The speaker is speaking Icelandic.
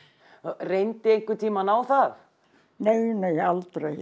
reyndi einhvern tímann á það aldrei